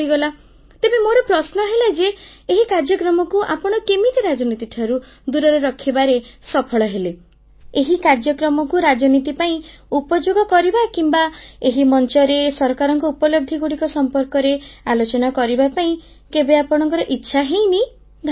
ତେବେ ମୋର ପ୍ରଶ୍ନ ହେଲା ଯେ ଏହି କାର୍ଯ୍ୟକ୍ରମକୁ ଆପଣ କେମିତି ରାଜନୀତିଠାରୁ ଦୂରରେ ରଖିବାରେ ସଫଳ ହେଲେ ଏହି କାର୍ଯ୍ୟକ୍ରମକୁ ରାଜନୀତି ପାଇଁ ଉପଯୋଗ କରିବା କିମ୍ବା ଏହି ମଞ୍ଚରେ ସରକାରଙ୍କ ଉପଲବ୍ଧିଗୁଡ଼ିକ ସମ୍ପର୍କରେ ଆଲୋଚନା କରିବା ପାଇଁ କେବେ ଆପଣଙ୍କ ଇଚ୍ଛା ହୋଇନି ଧନ୍ୟବାଦ